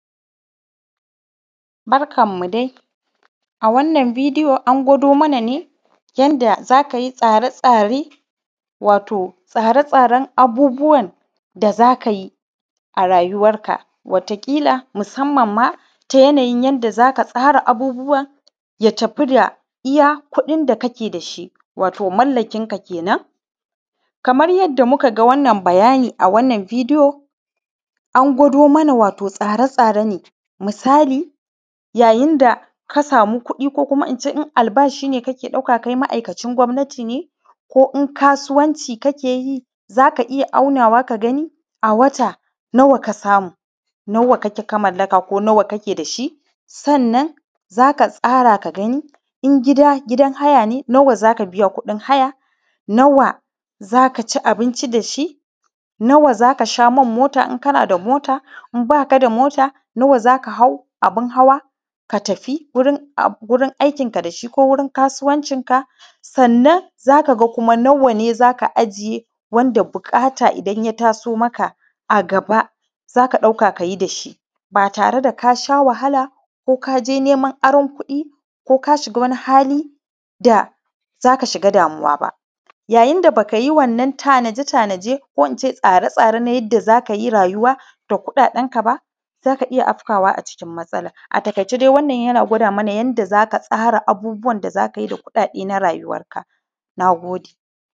Barkan mu dai a wannan bidiyo an gwado mana yanda zaka yi tsare tsare wato tsare tsaren abubuwan da za kayi a rayuwar ka wata ƙila musamman ma ta yanayin yanda zaka tsara abubuwa ya tafi da iya kuɗin da kake dashi wato mallakin ka kenan. Kamar yadda muka ga wannan bayani a wannan bidiyo an gwado mana wato tsare tsare ne. misali yayin da ka samu kuɗi ko kuma ince in albashi ne kake ɗauka kai ma’akaci gwamnati ne ko in kasuwanci kake yi, zaka iya aunawa ka gani a wata nawa ka samu, nawa kake ka mallaka ko nawa kake da shi, sannan zaka tsara ka gani in gida gidan haya ne nawa zaka biya kuɗin haya, nawa za kaci abinci da shi, nawa zaka sha man mota in kana da mota in ba ka da mota nawa zaka hau abun hawa ka tafi gurin um gurin aikin ka dashi ko wurin kasuwancin ka. Sannan za ka ga kuma nawa ne zaka ajiye wanda buƙata idan ya taso maka a gaba zaka ɗauka kayi dashi ba tare da kasha wahala, ko kaje neman aron kuɗi, ko ka shiga wani hali da zaka shiga damuwa ba. Yayin da baka yi wannan tanaje tanaje ko ince tsare tsare na yadda za kayi rayuwa da kuɗaɗen ka ba za ka iya afkawa a cikin matsala a taiƙaice dai wannan yana gwada mana yanda za ka tsara abubbwan da za kayi da kuɗaɗe na rayuwar ka. Nagode